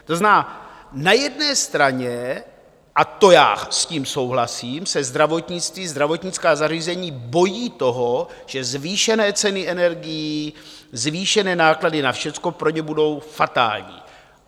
To znamená, na jedné straně, a to já s tím souhlasím, se zdravotnictví, zdravotnická zařízení bojí toho, že zvýšené ceny energií, zvýšené náklady na všecko pro ně budou fatální.